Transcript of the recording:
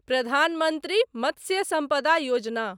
Pradhan Mantri Matsya Sampada Yojana